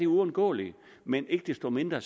uundgåeligt men ikke desto mindre